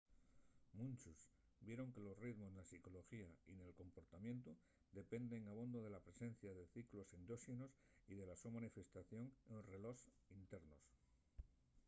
munchos vieron que los ritmos na psicoloxía y nel comportamientu dependen abondo de la presencia de ciclos endóxenos y de la so manifestación en relós internos